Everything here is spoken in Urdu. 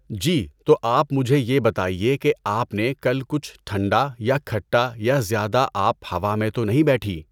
جی تو آپ مجھے یہ بتائیے کہ آپ نے کل کچھ ٹھنڈا یا کھٹا یا زیادہ آپ ہَوا میں تو نہیں بیٹھی؟